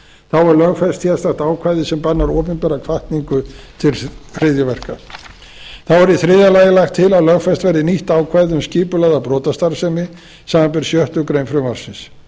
þá er lögfest sérstakt ákvæði sem bannar opinbera hvatningu til hryðjuverka þá er í þriðja lagi lagt til að lögfest verði nýtt ákvæði um skipulagða brotastarfsemi samanber sjöttu greinar frumvarpsins